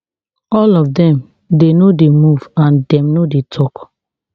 all of dem dey no dey move and dem no dey tok